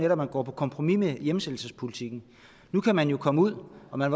at man går på kompromis med hjemsendelsespolitikken nu kan man komme ud og man